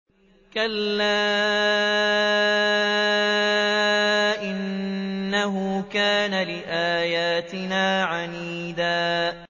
كَلَّا ۖ إِنَّهُ كَانَ لِآيَاتِنَا عَنِيدًا